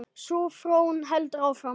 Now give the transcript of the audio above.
Sú þróun heldur áfram.